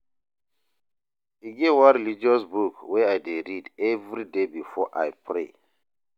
E get one religious book wey I dey read everyday before I pray.